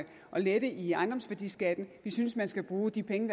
lette i ejendomsværdiskatten vi synes man skal bruge de penge